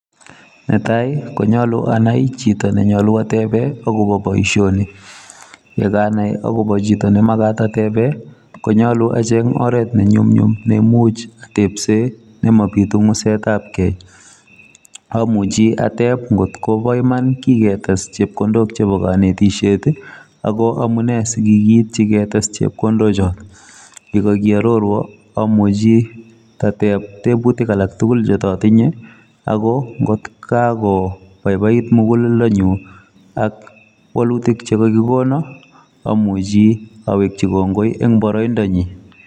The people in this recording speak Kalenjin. Netaii konyalooo acheng Chito neingen akopa boishonii amuchii step akanai akopa kanetichooo nitok AK kotko Pai paiit koyachee aaai